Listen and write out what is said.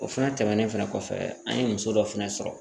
O fɛnɛ tɛmɛnen fɛnɛ kɔfɛ an ye muso dɔ fɛnɛ sɔrɔ